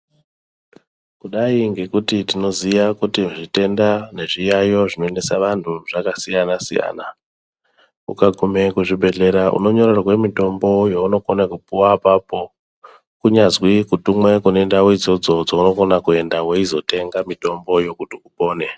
Kudai ngekuti tinoziya kuti zvitenda nezviyaiyo zvinoendesa vanthu zvakasiyana siyana ukagumeyo kuzvibhedhlera unonyorerwe mitombo yaunokona kupuwa apapo kunyazwi kutumweyo kune idzodzo dzaunokone kuenda weizotenga mitombo yekuti upone.